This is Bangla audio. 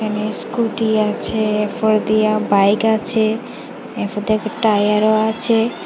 এখানে স্কুটি আছে এরপর দিয়া বাইক আছে এরপর দেখি টায়ারও আছে।